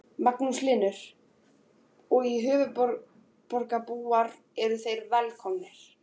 Magnús Hlynur: Og höfuðborgarbúar eru þeir velkomnir?